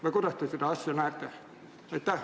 Või kuidas te seda asja näete?